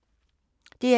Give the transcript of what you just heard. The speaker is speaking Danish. DR1